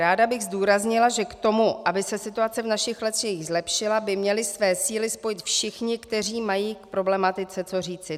Ráda bych zdůraznila, že k tomu, aby se situace v našich lesích zlepšila, by měli své síly spojit všichni, kteří mají k problematice co říci.